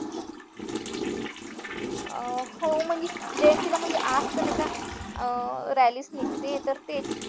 हो म्हणजे जयंतीला म्हणजे rally च निघते तर ते